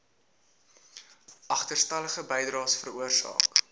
agterstallige bydraes veroorsaak